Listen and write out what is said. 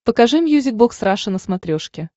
покажи мьюзик бокс раша на смотрешке